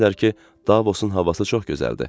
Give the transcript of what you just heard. deyirlər ki, Davosun havası çox gözəldir.